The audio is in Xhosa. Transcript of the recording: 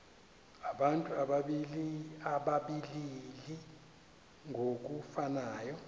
abantu abalili ngokufanayo